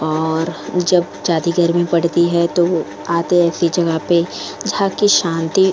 और जब जाती गर्मी पड़ती है तो आते हैं ऐसी जगह पे जहां की शांति --